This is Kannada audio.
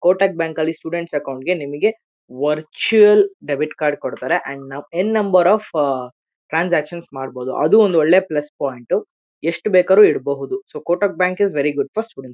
ಕೋಟಕ್ ಬ್ಯಾಂಕ್ ನಲ್ಲಿ ಸ್ಟೂಡೆಂಟ್ಸ್ ಅಕೌಂಟ್ಸ್ ಗೆ ನಿಮಗೆ ವರ್ಚುಯಲ್ ಡೆಬಿಟ್ ಕಾರ್ಡ್ ಕೊಡತ್ತಾರೆ and end number of ah transaction ಮಾಡಬಹುದು ಅದು ಒಂದ್ ಒಳ್ಳೆ ಪ್ಲೇಸ್ ಪಾಯಿಂಟ್ ಎಸ್ಟ್ ಬೇಕಾದರೂ ಇಡಬಹುದು so Kotak bank very good first students accounts .